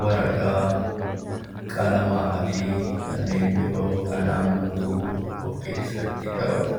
waraqaa, qalamaa fi kanneen biroo kan hammatu of keessatti qabata.